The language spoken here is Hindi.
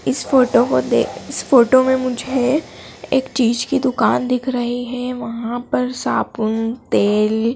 इस फोटो को देख इस फोटो में मुझे एक चीज की दुकान दिख रही है वहां पर साबुन तेल--